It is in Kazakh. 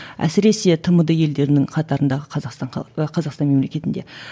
әсіресе тмд елдерінің қатарындағы қазақстан қазақстан мемлекетінде